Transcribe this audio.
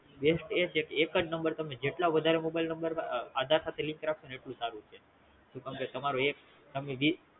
best એ છે કે એકજ Number તમે જેટલા વધારે Mobile number આધાર સાથે Link રાખો ને એટલું સારું છે કેમકે તમારો એક